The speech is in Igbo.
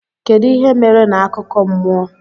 Kedu ihe mere na akụkọ mmụọ?